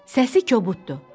Səsi kobuddur.